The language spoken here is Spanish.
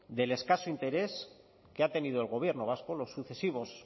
del escaso interés que ha tenido el gobierno vasco los sucesivos